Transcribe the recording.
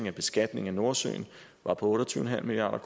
af beskatningen af nordsøolien var på otte og tyve milliard